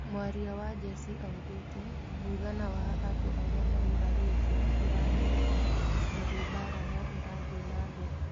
Mwaria wa njeci augĩte mũigana wa andũ arĩa magũrarĩtio ndũramenyeka tondũ mbara no ĩrathiĩ na mbere.